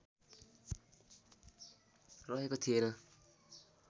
रहेको थिएन